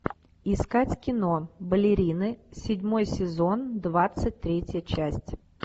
искать кино балерины седьмой сезон двадцать третья часть